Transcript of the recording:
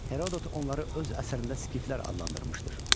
Herodot onları öz əsərində skiflər adlandırmışdır.